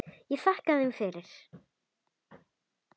Ég þakkaði þeim fyrir.